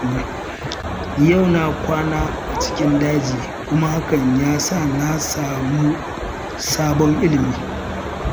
Yau na kwana a cikin daji kuma hakan ya sa na samu sabon ilmi